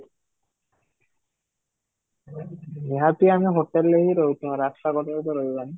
ନିହାତି ଆମେ ହୋଟେଲରେ ହିଁ ରହିଛୁ ରାସ୍ତାକଡ଼ରେ ତ ରହିବାନି